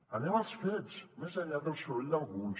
anem als fets més enllà del soroll d’alguns